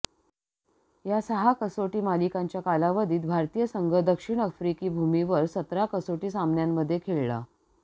या सहा कसोटी मालिकांच्या कालावधीत भारतीय संघ दक्षिण आफ्रिकी भूमीवर सतरा कसोटी सामन्यांध्ये खेळला